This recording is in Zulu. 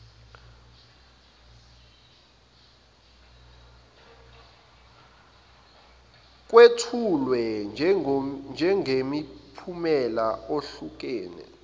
kwethulwe njengemiphumela ehlukene